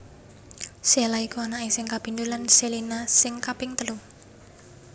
Sheila iku anaké sing kapindho lan Shelina sing kaping telu